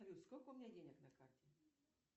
салют сколько у меня денег на карте